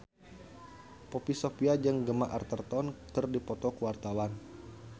Poppy Sovia jeung Gemma Arterton keur dipoto ku wartawan